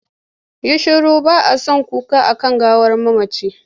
Yi shiru! ba a son kuka a kan gawar mamaci.